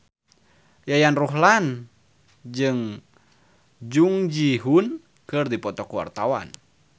Yayan Ruhlan jeung Jung Ji Hoon keur dipoto ku wartawan